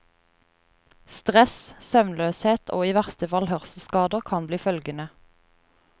Stress, søvnløshet og i verste fall hørselsskader kan bli følgene.